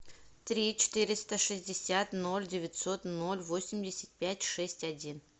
три четыреста шестьдесят ноль девятьсот ноль восемьдесят пять шесть один